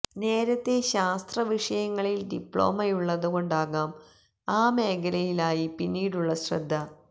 നേരത്തേ ശാസ്ത്ര വിഷയങ്ങളില് ഡിപ്ലോമയുള്ളതുകൊണ്ടാകാം ആ മേഖലയിലായി പിന്നീടുള്ള ശ്രദ്ധ